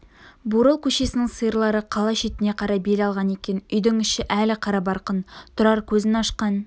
бурыл көшесінің сиырлары қала шетіне қарай бел алған екен үйдің іші әлі қарабарқын тұрар көзін ашқан